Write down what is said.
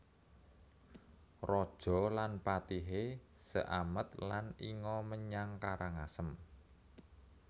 Raja lan patihé seamet lan lnga menyang Karangasem